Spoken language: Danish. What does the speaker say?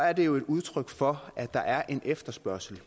er det jo et udtryk for at der er en efterspørgsel